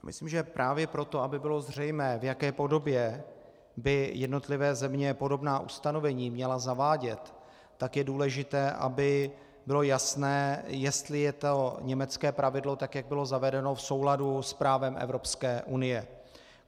Myslím, že právě proto, aby bylo zřejmé, v jaké podobě by jednotlivé země podobná ustanovení měly zavádět, tak je důležité, aby bylo jasné, jestli je to německé pravidlo, tak jak bylo zavedeno, v souladu s právem Evropské unie.